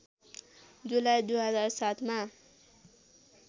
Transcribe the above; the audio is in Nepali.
जुलाई २००७ मा